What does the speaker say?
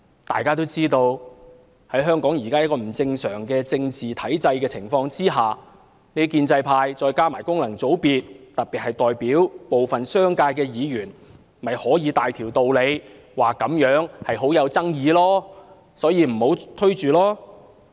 大家都知道，在香港這個不正常的政治體制下，建制派加上功能界別，特別是代表部分商界的議員，就可以有大道理說這議題具爭議性，不應急於推展。